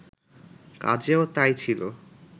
কাজেও তাই ছিল